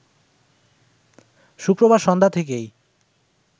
শুক্রবার সন্ধ্যা থেকেই